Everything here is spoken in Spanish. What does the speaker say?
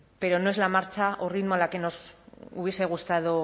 pero no es la marcha o ritmo a la que nos hubiese gustado